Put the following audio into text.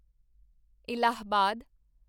Allahabad